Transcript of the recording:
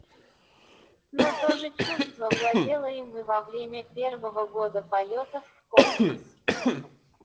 но то же чувство владело им и во время первого года полёта в космос